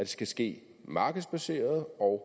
skal ske markedsbaseret og